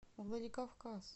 владикавказ